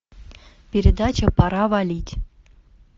передача пора валить